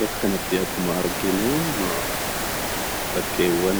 Bakka kanatti akkuma arginu bakkeewwan